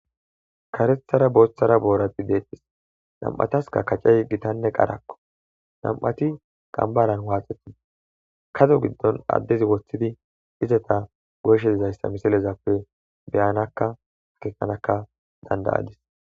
Karethara booththara boorati deextis nam'ataska kacey gitanne qarakko nam'ati qambaran waaxetin kado giddon addezi woththidi izata goyshe dizayssa misilezappe beyanakka hakekanaka dandayadis.